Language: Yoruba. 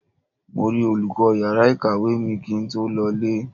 Mo rí olùkọ́ yàrá ìkàwé mi kí n tó lọ ilé.